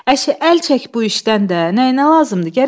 "Əşi, əl çək bu işdən də, nəyinə lazımdır?